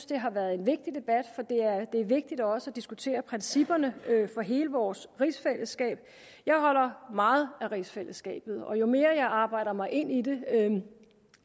det har været en vigtig debat for det er vigtigt også at diskutere principperne for hele vores rigsfællesskab jeg holder meget af rigsfællesskabet og jo mere jeg arbejder mig ind i det